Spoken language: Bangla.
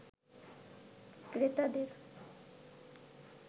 ক্রেতাদের